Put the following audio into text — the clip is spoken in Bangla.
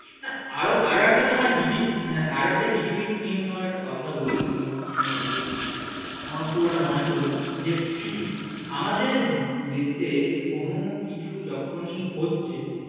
আরও একটা আরও একটা GDP নিয়ে তোমাকে একটা কথা বলি মানে ইয়ে নিয়ে আমার খুব এটা মনে পড়ল যে আমাদের দেশে কোন কিছু যখনই হচ্ছে